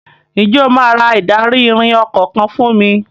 Ǹjẹ́ o máa ra ìdarí-ìrìn ọkọ̀ kan fún mi?